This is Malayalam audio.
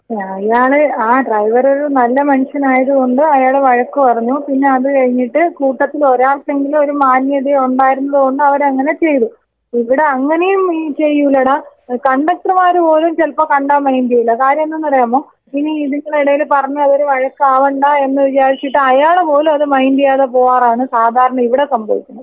ആ അയാള് ആ ഡ്രൈവർ ഒരു നല്ല മനുഷ്യനായതുകൊണ്ട് അയാള് വഴക്ക് പറഞ്ഞു. പിന്നെ അത് കഴിഞ്ഞിട്ട് കൂട്ടത്തിൽ ഒരാൾക്കെങ്കിലും ഒരു മാന്യതയോ ഉണ്ടായിരുന്നതുകൊണ്ട് അവര് അങ്ങനെ ചെയ്തു. ഇവിടെ അങ്ങനെയും ചെയ്യൂലഡാ. കണ്ടക്ടർമാര് പോലും ചിലപ്പോ കണ്ടാ മൈൻഡ് ചെയ്യൂല. കാര്യം എന്തെന്നറിയാമോ? പിന്നെ ഇതിങ്ങളെ എടയില് പറഞ്ഞ് അതൊരു വഴക്കാവണ്ട എന്ന് വിചാരിച്ചിട്ട് അയാള് പോലും അത് മൈൻഡ് ചെയ്യാതെ പോവാറാണ് സാധാരണ ഇവിടെ സംഭവിക്കുന്നത്.